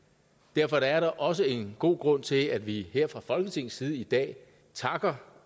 derfor er der også en god grund til at vi her fra folketingets side i dag takker